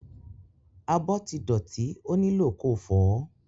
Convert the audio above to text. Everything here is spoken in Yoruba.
Abọ́ ti dọ̀tí ó nílò ko fọ̀ọ́.